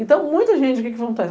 Então, muita gente, o que que acontece?